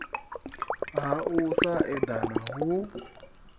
ha u sa eḓana hu